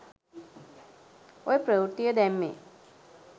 ඔය ප්‍රවෘත්තිය දැම්මේ